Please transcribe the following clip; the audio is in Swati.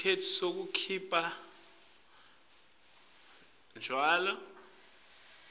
sitifiketi sekukhipha tjwala